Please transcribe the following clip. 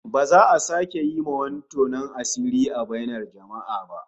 Ba za a sake yi wa wani tonon asiri a bainar jama'a ba